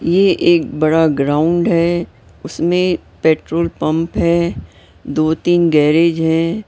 ये एक बड़ा ग्राउंड उसमें पेट्रोल पंप है दो-तीन गैरेज हैं।